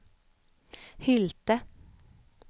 Hylte